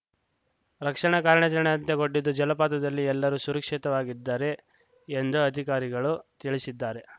ರಕ್ಷಣಾ ಕಾರ್ಯಾರಚಣೆ ಅಂತ್ಯಗೊಂಡಿದ್ದು ಜಲಾಪತದಲ್ಲಿ ಎಲ್ಲರೂ ಸುರಕ್ಷಿತವಾಗಿದ್ದಾರೆ ಎಂದು ಅಧಿಕಾರಿಗಳು ತಿಳಿಶಿದ್ದಾರೆ